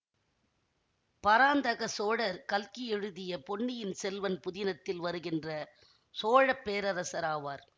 பராந்தக சோழர் கல்கி எழுதிய பொன்னியின் செல்வன் புதினத்தில் வருகின்ற சோழ பேரரசர் ஆவார்